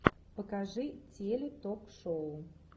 покажи теле ток шоу